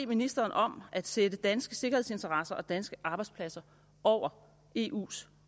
ministeren om at sætte danske sikkerhedsinteresser og danske arbejdspladser over eus